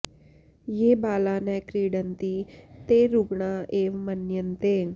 ये बाला न क्रीडन्ति ते रुग्णा एव मन्यन्ते